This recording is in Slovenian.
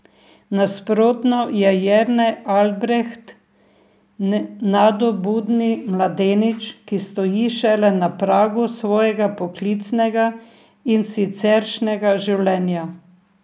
Nasprotno je Jernej Albreht nadobudni mladenič, ki stoji šele na pragu svojega poklicnega in siceršnjega življenja.